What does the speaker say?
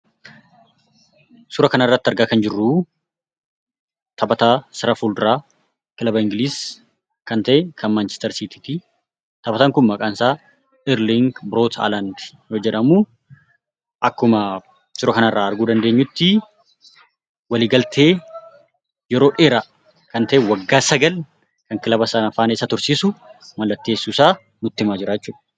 Suura kanarratti argaa kan jirruu taphataa sarara fuulduraa kilaba Ingiliiz kan ta'e, kan Maanchister Siitii( Manchester City)ti. Taphataan kun maqaan isaa Irliing Broot Halaand yeroo jedhamu, akkuma suura kanarraa arguu dandeenyutti, waliigaltee yeroo dheeraa kan ta'e, waggaa sagal kan kilaba sana faana waliin isa tursiisu mallatteessuusaa nutti himaa jira jechuudha.